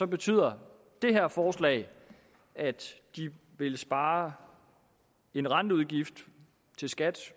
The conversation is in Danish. betyder det her forslag at de vil spare en renteudgift til skat